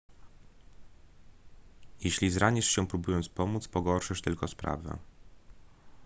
jeśli zranisz się próbując pomóc pogorszysz tylko sprawę